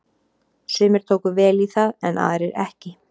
Sumir tóku vel í það en aðrir ekki.